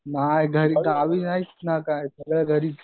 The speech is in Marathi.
नाही गावी नाहीच ना काही सगळं घरीच.